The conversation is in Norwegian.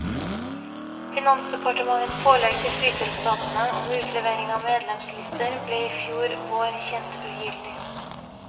Finansdepartementets pålegg til flyselskapene om utlevering av medlemslister ble i fjor vår kjent ugyldig.